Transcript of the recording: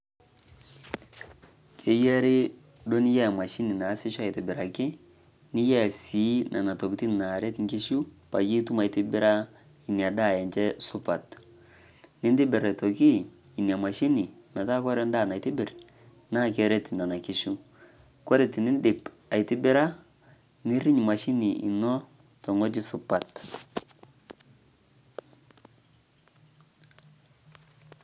Keeyari doo niyaa emashini naesishoo atibiraki. Niyaa sii nenia ntokitin naaret nkishuu paye ituum aitibiraa enia endaa enchee supaat. Nintibiir atooki enia mashini metaa kore ndaa naitibiir naa kereet nenaa nkishuu. Kore tiniidip aitibiraa niiriiny emashini enoo to ng'ojii supaat.